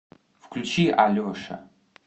включи алеша